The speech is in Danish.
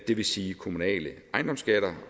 det vil sige kommunale ejendomsskatter